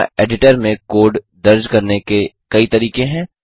यहाँ एडिटर में कोड दर्ज करने के कई तरीके हैं